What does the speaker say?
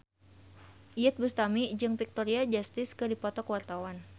Iyeth Bustami jeung Victoria Justice keur dipoto ku wartawan